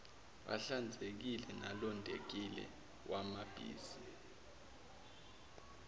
ahlanzekile nalondekile awabizi